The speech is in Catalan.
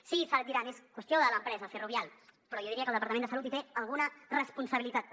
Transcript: sí diran és qüestió de l’empresa ferrovial però jo diria que el departament de salut hi té alguna responsabilitat també